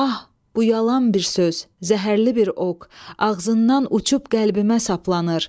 Ah, bu yalan bir söz, zəhərli bir ox, ağzından uçub qəlbimə saplanır.